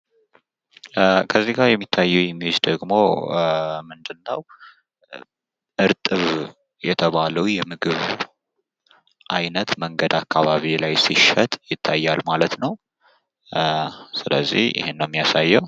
ከዚህ ላይ የሚታየኝ ምስል ደግሞ ምንድን ነው? እርጥብ የተባለው የምግብ አይነት መንገድ አካባቢ ላይ ሲሸጥ ይታያል ማለት ነው። ስለዚህ ይህን ነው የሚያሳየው።